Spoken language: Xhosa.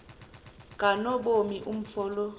kanobomi umfo lo